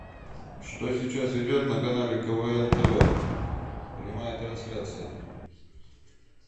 что сейчас идет на канале квн тв прямая трансляция